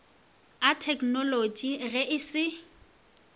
a theknolotši ge e se